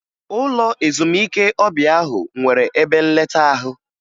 Ụlọ ezumike ọbịa ahụ nwere ebe nleta ahụ